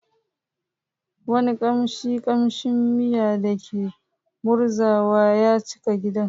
Wani kamshin kamshin miya da ke murzawa ya cika gidan.